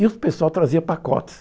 E o pessoal trazia pacotes.